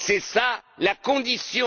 C'est cela la condition.